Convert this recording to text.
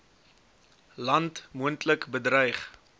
land moontlik bedreig